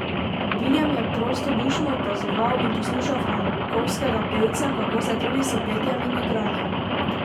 Viljem je prostodušno opazoval in poslušal frankovskega pevca, kako se trudi s petjem in igranjem.